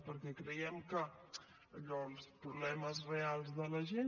perquè creiem que allò els problemes reals de la gent